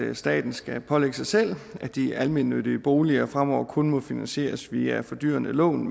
her at staten skal pålægge sig selv at de almennyttige boliger fremover kun må finansieres via fordyrende lån